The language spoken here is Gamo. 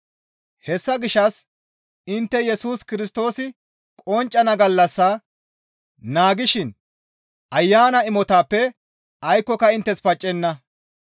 Hessa gishshas intte Yesus Kirstoosi qonccana gallas naagishin Ayana imotatappe aykkoyka inttes paccenna.